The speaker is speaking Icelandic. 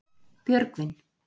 Björgvin